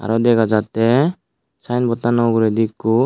ar dega jatte sayenbod tano ugureydi ekko.